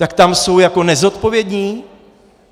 Tak tam jsou jako nezodpovědní?